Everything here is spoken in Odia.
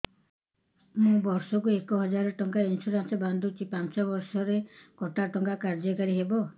ମୁ ବର୍ଷ କୁ ଏକ ହଜାରେ ଟଙ୍କା ଇନ୍ସୁରେନ୍ସ ବାନ୍ଧୁଛି ପାଞ୍ଚ ବର୍ଷ ପରେ କଟା ଟଙ୍କା କାର୍ଯ୍ୟ କାରି ହେବ